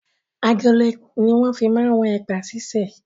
Agolo ni wọn fi máa ń wọn ẹ̀pà sise.